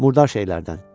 Murdar şeylərdən.